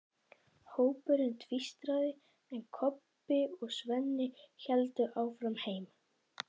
Hópurinn tvístraðist, en Kobbi og Svenni héldu áfram heim.